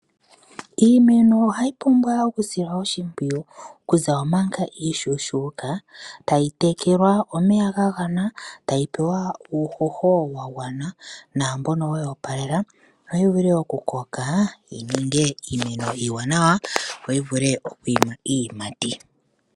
Iimeno ohayi pumbwa okusilwa oshimpwiyu okuza manga iishona. Tayi tekelwa omeya ga gwana, tayi pewa uuhoho wa gwana naambono weyi opalela opo yi vule okukoka yi ninge iimeno iiwanawa yo yi vule yi ninge iiyimati.